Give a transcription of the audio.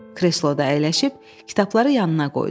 Kresloda əyləşib kitabları yanına qoydu.